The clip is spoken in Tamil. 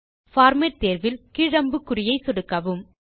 பார்மேட் தேர்வில் கீழ் அம்புக்குறியை சொடுக்கவும்